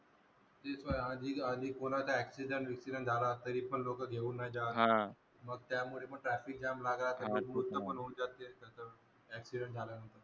ते आधी आदी कुणाचा accident झाला तरी लोक घेवून नाही जात त्यामुळे traffic jam लागाचा हे गोष्ट पण होवून जाते accident झाल्यानंतर